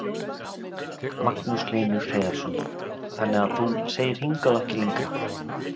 Magnús Hlynur Hreiðarsson: Þannig að þú segir hingað og ekki lengra?